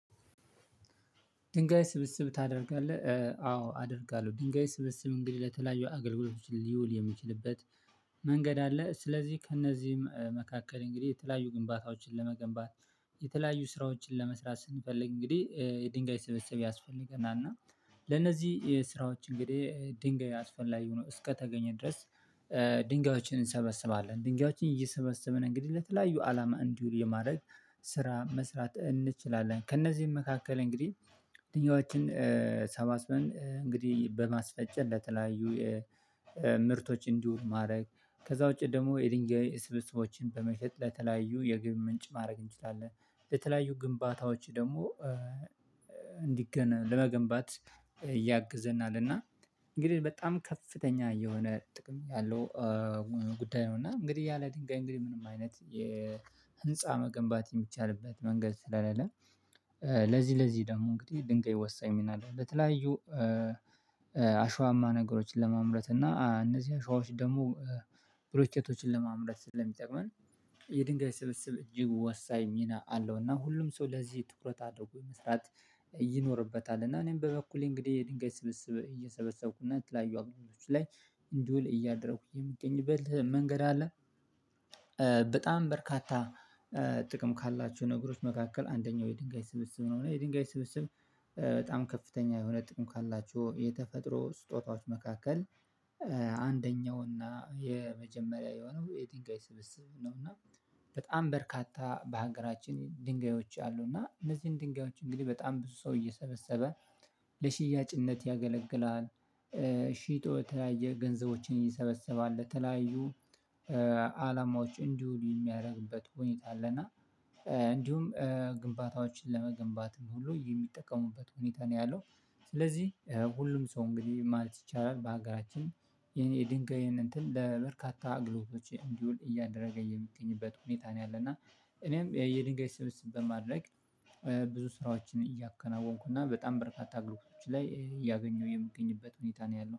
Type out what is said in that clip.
ድንጋይ ስብስብ ታደርጋለህ አዎ አደርጋለሁ ድንጋይ ስብስብ እንግዲህ ለተለያዩ አገልግሎቶች ሊውል የሚችልበት መንገድ አለ። ስለዚህ ከእነዚህም መካከል እንግዲህ የተለያዩ ግንባታዎችን ለመገንባት የተለያዩ ስራዎችን ለመስራት ስንፈልግ እንግዲህ የድንጋይ ስብሰብ ያስፈልገናል እና ለነዚህ ስራዎች እንግዲህ ድንጋይ አስፈላጊ ላይ ሆኖ እስከተገኘ ድረስ ድንጋዮችን እንሰበስባለን ድንጋዮችን እየሰበሰበን እንግዲህ ለተለያዩ አላማ እንዲውል የማድረግ ስራ መስራት እንችላለን። ከእነዚህም መካከል እንግዲህ ደንጋዮችን አሰባስበን እንግዲህ በማስፈጨት ለተለያዩ ምርቶች እንዲውሉ ማድረግ ከዛ ውጪ ደግሞ የድንጋይ ስብስቦችን በመሸጥ ለተለያዩ የገቢ ምንጭ ማድረግ እንችላለን በተለያዩ ግንባታዎች ደግሞ ለመገንባት ያግዘናልና እና እንግዲህ በጣም ከፍተኛ የሆነ ጥቅም ያለው ጉዳይ ነው። እና እንግዲህ ያለ ድንጋይ እንግዲህ ምንም አይነት የ ህንፃ መገንባት የሚቻልበት መንገድ ስለሌለ ለዚህ ለዚህ ደግሞ እንግዲህ ድንጋይ ወሳኝ ሚና አለው። በተለያዩ አሸዋማ ነገሮችን ለማምረት እና እነዚህ አሸዋዎች ደግሞ ብሎኬቶችን ለማምረት ስለሚጠቅመን የድንጋይ ስብስብ እጅግ ወሳኝ ሚና አለው። እና ሁሉም ሰው ለዚህ ትኩረት አድርጎ መስራት ይኖርበታል። እና እኔም በበኩሌ እንግዲህ የድንጋይ ስብስብ እየሰበሰብኩና የተለያዩ አገልግሎቶች ላይ እንዲውል እያደረኩኝ የምገኝበት መንገድ አለ። በጣም በርካታ ጥቅም ካላቸው ነገሮች መካከል አንደኛው የድንጋይ ስብስብ ነው። እና የድንጋይ ስብስብ በጣም ከፍተኛ የሆነ ጥቅም ካላቸው የተፈጥሮ ስጦታዎች መካከል አንደኛው እና የመጀመሪያ የሆነው የድንጋይ ስብስብ ነውና በጣም በርካታ በሀገራችን ድንጋዮች አሉ። እና እነዚህን ድንጋዮች እንግዲህ በጣም ብዙ ሰው እየሰበሰበ ለሽያጭነት ያገለግላል ሺጦ የተለያየ ገንዘቦችን ይሰበሰባል የተለያዩ አላማዎች እንዲሁ የሚያደርግበት ሁኔታ አለና። እንዲሁም ግንባታዎችን ለመገንባትም ሁሉ የሚጠቀሙበት ሁኔታ ነው ያለው። ስለዚህ ሁሉም ሰው እንግዲህ ማለት ይቻላል በሀገራችን ይሄን የድንጋይ እንትን ለበርካታ አገልግሎቶች እንዲውል እያደረገ የሚገኝበት ሁኔታ ነው። ያለና እኔም የድንጋይ ስብስብ በማድረግ ብዙ ስራዎችን እያከናወንኩና በጣም በርካታ አገልግሎቶች ላይ እያገኘሁ የምገኝበት ሁኔታ ነው ያለው